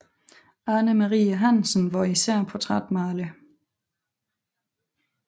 Ane Marie Hansen var især portrætmaler